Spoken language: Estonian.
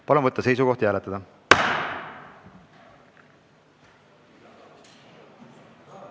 Palun võtta seisukoht ja hääletada!